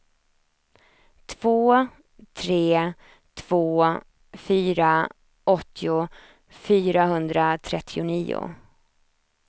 två tre två fyra åttio fyrahundratrettionio